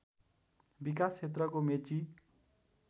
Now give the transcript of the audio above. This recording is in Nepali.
विकास क्षेत्रको मेची